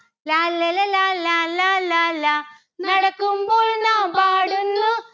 ലാല്ലല ലാലാ ലാലാ ലാ. നടക്കുമ്പോൾ നാം പാടുന്നു